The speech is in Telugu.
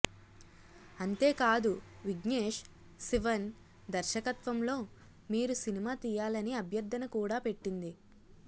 అంతేకాదు విఘ్నేష్ శివన్ దర్శకత్వంలో మీరు సినిమా తీయాలని అభ్యర్థన కూడా పెట్టింది